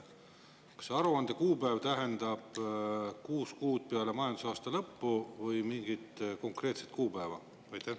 Kas aruande kuupäev tähendab kuus kuud peale majandusaasta lõppu või mingit konkreetset kuupäeva?